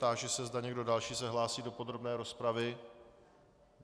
Táži se, zda někdo další se hlásí do podrobné rozpravy.